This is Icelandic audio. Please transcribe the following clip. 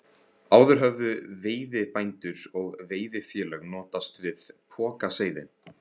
Áður höfðu veiðibændur og veiðifélög notast við pokaseiði.